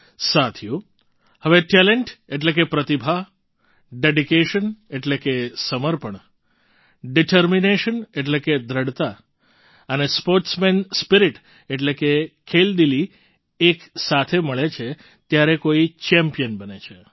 સાથીઓ હવે ટેલન્ટ એટલે કે પ્રતિભા ડેડિકેશન એટલે કે સમર્પણ ડિટરમિનેશન એટલે કે દૃઢતા અને સ્પૉર્ટ્સમેન સ્પિરિટ એટલે કે ખેલદિલી એક સાથ મળે છે ત્યારે કોઈ ચેમ્પિયન બને છે